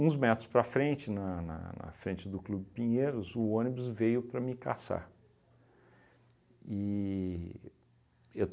metros para frente, na na na frente do Clube Pinheiros, o ônibus veio para me caçar. E eu